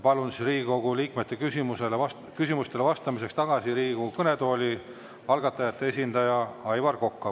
Palun Riigikogu liikmete küsimustele vastamiseks Riigikogu kõnetooli algatajate esindaja Aivar Koka.